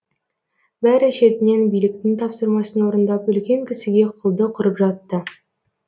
бәрі шетінен биліктің тапсырмасын орындап үлкен кісіге құлдық ұрып жатты